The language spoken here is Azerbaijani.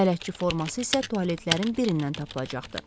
Bələdçi forması isə tualetlərin birindən tapılacaqdı.